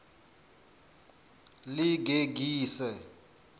ḽigegise